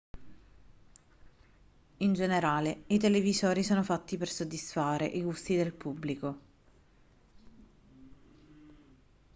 in generale i televisori sono fatti per soddisfare i gusti del pubblico